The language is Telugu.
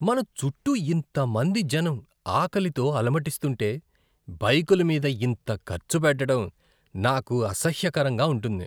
మన చుట్టూ ఇంతమంది జనం ఆకలితో అలమటిస్తుంటే, బైకుల మీద ఇంత ఖర్చుపెట్టడం నాకు అసహ్యకరంగా ఉంటుంది.